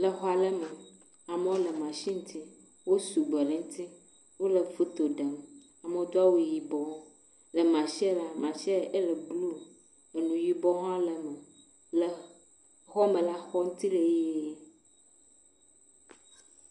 exɔale me amalewo le machine ŋti wó sugbɔ le nti wóle foto ɖem amɔwo dó awu yibɔ le machine la machine éle blu nu yibɔ hã le me xɔme la xɔ nti hã le yie